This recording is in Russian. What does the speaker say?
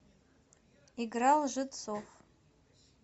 игра лжецов